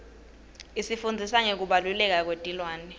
isifundzisa ngekubaluleka kwetilwane